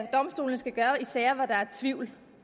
domstolene skal gøre i sager hvor der er tvivl